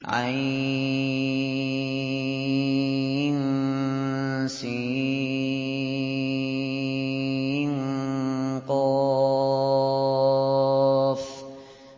عسق